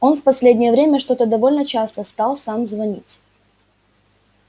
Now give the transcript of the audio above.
он в последнее время что-то довольно часто стал сам звонить